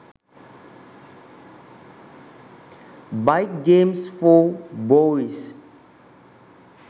bike games for boys